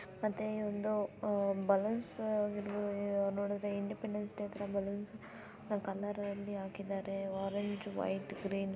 ಮತ್ತೆ ಈ ಒಂದು ಅಹ್ ಬಲೂನ್ಸ್ ನೋಡುದ್ರೆ ಇಂಡಿಪೆಂಡೆನ್ಸ್ ಡೇ ತರ ಬಲೂನ್ಸ್ ಕಲರಲ್ಲಿ ಹಾಕಿದ್ದಾರೆ ಆರೆಂಜ್ ವೈಟ್ ಗ್ರೀನ್ --